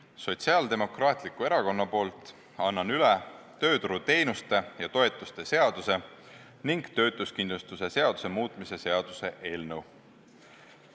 Annan Sotsiaaldemokraatliku Erakonna poolt üle tööturuteenuste ja -toetuste seaduse ning töötuskindlustuse seaduse muutmise seaduse eelnõu.